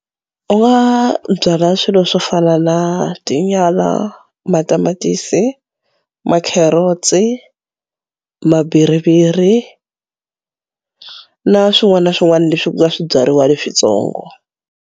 U nga byala swilo swo fana na tinyala, matamatisi, ma-carrots, mabhiriviri na swin'wana na swin'wana leswi ku nga swibyariwa leswitsongo.